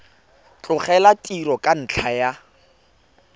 tlogela tiro ka ntlha ya